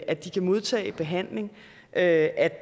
at de kan modtage behandling at